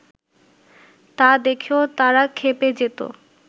তা দেখেও তারা ক্ষেপে যেত